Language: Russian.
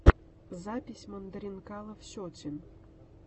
запись мандаринкалов сетин